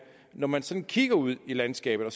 at når man sådan kigger ud i landskabet og